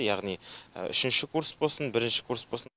яғни үшінші курс болсын бірінші курс болсын